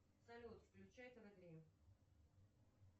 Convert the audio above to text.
салют включай тв три